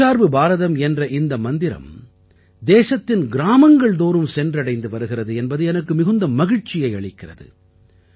தற்சார்பு பாரதம் என்ற இந்த மந்திரம் தேசத்தின் கிராமங்கள்தோறும் சென்றடைந்து வருகிறது என்பது எனக்கு மிகுந்த மகிழ்ச்சியை அளிக்கிறது